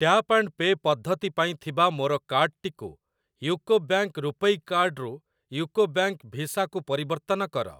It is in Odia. ଟ୍ୟାପ ଆଣ୍ଡ ପେ ପଦ୍ଧତି ପାଇଁ ଥିବା ମୋର କାର୍ଡ୍‌ଟିକୁ ୟୁକୋ ବ୍ୟାଙ୍କ୍‌ ରୂପୈ କାର୍ଡ଼୍ ରୁ ୟୁକୋ ବ୍ୟାଙ୍କ୍‌ ଭିସା କୁ ପରିବର୍ତ୍ତନ କର।